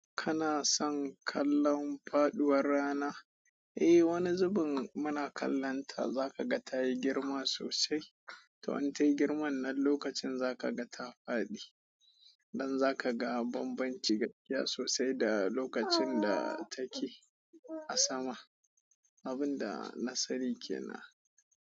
Kana son kallon faduwar rana? Eh wani zubin muna kallonta zaka ga tayi girma sosai to in tayi girman nan lokacin zaka ga ta faɗi. Dan za kaga banbanci gaskiya sosai da lokacin da take a sama. Abun da na sani ke nan.